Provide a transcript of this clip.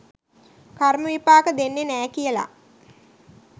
කර්ම විපාක දෙන්නේ නෑ කියලා.